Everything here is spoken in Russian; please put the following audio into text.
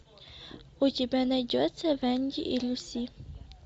у тебя найдется венди и люси